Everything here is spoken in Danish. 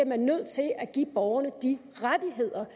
man nødt til at give borgerne de rettigheder